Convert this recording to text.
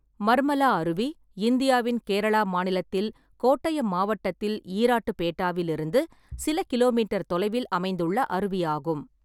மர்மலா அருவி இந்தியாவின் கேரளா மாநிலத்தில் கோட்டயம் மாவட்டத்தில் ஈராட்டுபேட்டாவிலிருந்து சில கிலோமீட்டர் தொலைவில் அமைந்துள்ள அருவி ஆகும்.